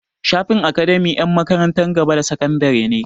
Shafin academia na 'yan makarantar gaba da sakandare ne.